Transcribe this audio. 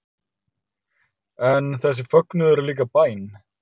En þessi fögnuður er líka bæn